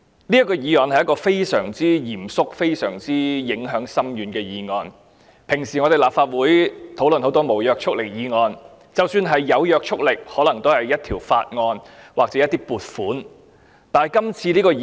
這是非常嚴肅且影響深遠的議案，以往我們在立法會討論很多無約束力議案，即使是有約束力，可能也是屬於法案或撥款的議案。